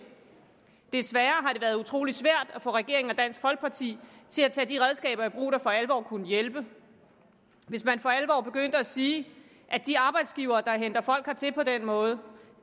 desværre har været utrolig svært at få regeringen og dansk folkeparti til at tage de redskaber i brug der for alvor kunne hjælpe hvis man for alvor begyndte at sige at de arbejdsgivere der henter folk hertil på den måde